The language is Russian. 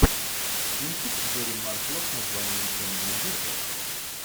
кинчик гэрри маршалла с названием темное зеркало